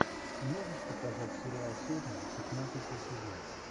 можешь показать сериал сотня пятнадцатый сезон